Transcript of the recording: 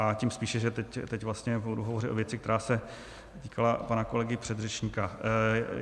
A tím spíše, že teď vlastně budu hovořit o věci, která se týkala pana kolegy předřečníka.